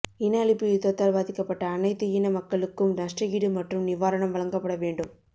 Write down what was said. இனஅழிப்பு யுத்தத்தால் பாதிக்கப்பட்ட அனைத்து இன மக்களுக்கும் நஷ்டஈடு மற்றும் நிவாரணம் வழக்கப்படவேண்டும்